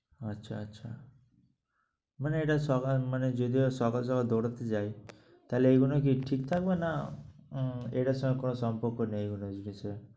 আচ্ছা আচ্ছা। মানে এটা সকান~ মানে যদি সকাল সকাল দৌঁড়াতে যাই তাহলে এইগুলা কি ঠিক থাকবে না উম এটার সাথে কোন সম্পর্ক নেই এগুলা জিনিসের।